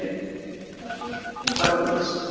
Slatti af rifinni piparrót